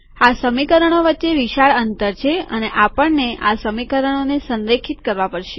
આ સમીકરણો વચ્ચે વિશાળ અંતર છે અને આપણને આ સમીકરણોને સંરેખિત કરવા પડશે